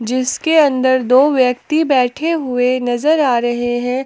इसके अंदर दो व्यक्ति बैठे हुए नजर आ रहे हैं।